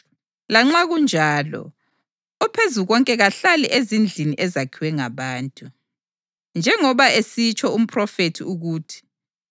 Lanxa kunjalo, oPhezukonke kahlali ezindlini ezakhiwe ngabantu. Njengoba esitsho umphrofethi ukuthi: